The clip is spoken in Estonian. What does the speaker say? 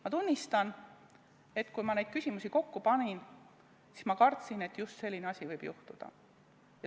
Ma tunnistan, et kui ma neid küsimusi kokku panin, siis ma kartsin, et just selline asi võib juhtuda.